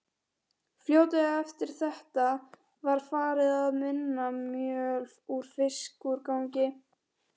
Fljótlega eftir þetta var farið að vinna mjöl úr fiskúrgangi.